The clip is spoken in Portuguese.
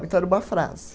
Então era uma frase.